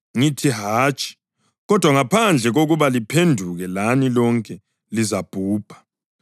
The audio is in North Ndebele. Ngithi, hatshi! Kodwa, ngaphandle kokuba liphenduke lani lonke lizabhubha.”